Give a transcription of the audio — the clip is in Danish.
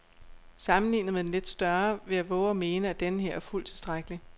Sammenlignet med den lidt større vil jeg vove at mene, at denneher er fuldt tilstrækkelig.